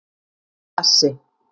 Bassi